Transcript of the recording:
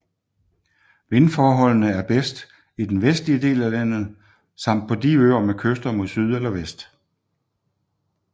Vindforholdene er bedst i den vestlige del af landet samt på de øer med kyster mod syd eller vest